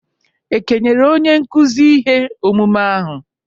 E kenyere onye nkuzi ihe omume ahụ?